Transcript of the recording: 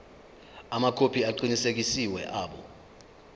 amakhophi aqinisekisiwe abo